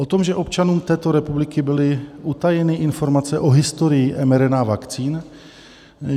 O tom, že občanům této republiky byly utajeny informace o historii mRNA vakcín?